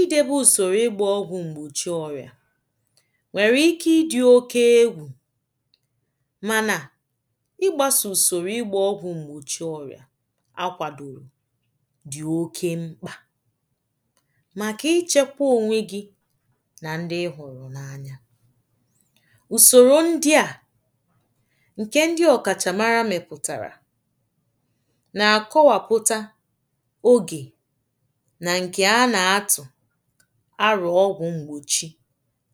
idebe usoro ịgbȧ ọgwụ̀ m̀gbòchi ọrị̀à nwèrè ike ị dị̀ oke egwù mànà ịgbasò usoro ịgbȧ ọgwụ̀ m̀gbòchi ọrị̀à akwàdòrò dị̀ oke mkpà màkà ichėkwȧ ònwe gị nà ndị ị hụ̀rụ̀ n’anya ùsòrò ndị à ǹkè ndị ọ̀kàchàmara mepụtàrà nà ǹkè a nà-atụ̀ arọ̀ ọgwụ̀ m̀gbòchi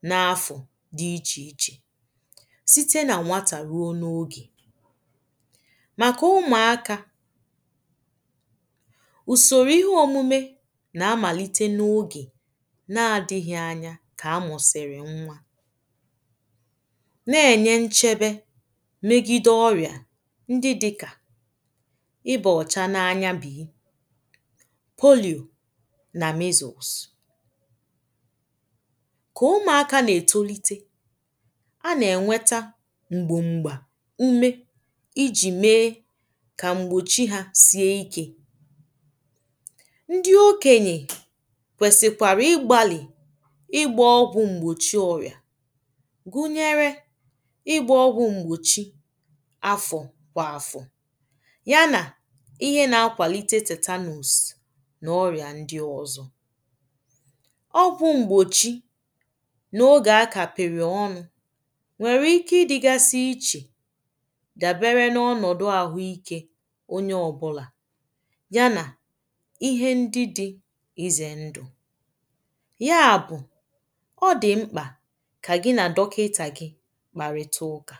n’afọ̀ dị̀ ichè ichè site nà nwatà ruo n’ogè màkà ụmụ̀akà ùsòrò ihe òmume nà-amàlite n’ogè na-adịghị̇ anya kà a mụ̀sị̀rị̀ nwa na-ènye nchebe megide ọrị̀à ndị dị̇kà polìò nà misụ̀ụ̀sụ̀ kà ụmụ̀akȧ nà-ètolite a nà-ènweta m̀gbòmgbà ume ijì mee kà m̀gbòchí hȧ sie ikė ndị okenyè kwèsìkwàrà ịgbȧlị̀ ịgbȧ ọgwụ̀ m̀gbòchi ọrị̀à gụnyere ịgbȧ ọgwụ̀ m̀gbòchi n’ọrị̀à ndɪ ọ̀zọ̀ ọgwụ̇ m̀gbòchi n’ogè a kàpị̀rị̀ ọnụ̇ nwèrè ike ịdị̇gȧsị̇ ichè dàbere n’ọnọ̀dụ̀ àhụ ikė onye ọ̀bụ̀là ya nà ihe ndị dị̇ ịzè ndụ̀ ya bụ̀ ọ dị̀ mkpà kà gị nà dọkịtà gị̇ kpàrị̀ta ụ̇kà